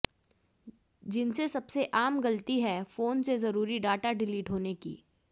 जिनसे सबसे आम गलती है फोन से जरुरी डाटा डिलीट होने की